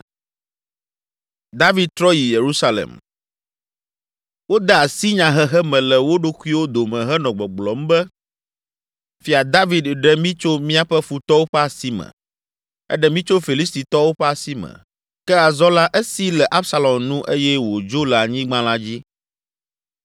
Wode asi nyahehe me le wo ɖokuiwo dome henɔ gbɔgblɔm be, “Fia David ɖe mí tso míaƒe futɔwo ƒe asi me. Eɖe mí tso Filistitɔwo ƒe asi me, ke azɔ la esi le Absalom nu eye wòdzo le anyigba la dzi.